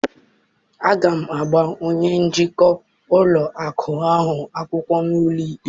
Aga m agba onye njikwa ụlọ akụ ahụ akwụkwọ n'ụlọ ikpe!